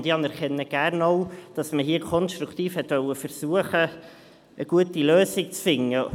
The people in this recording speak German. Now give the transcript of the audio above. Ich anerkenne gerne auch, dass man hier konstruktiv versuchen wollte, eine gute Lösung zu finden.